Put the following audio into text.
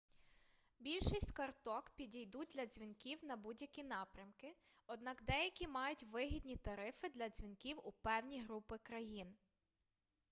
більшість карток підійдуть для дзвінків на будь-які напрямки однак деякі мають вигідні тарифи для дзвінків у певні групи країн